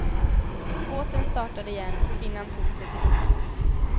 Båten startade igen och kvinnan tog sig till duschen.